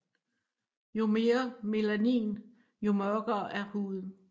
Jo mere melanin jo mørkere er huden